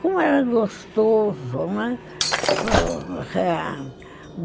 Como era gostoso, né?